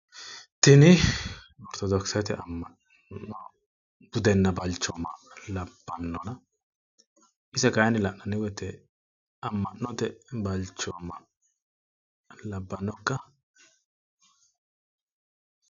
tini ortodokkisete am'ano budenna balchooma labbanna ise kayini lananni woyte amanote balchooma labbannokka?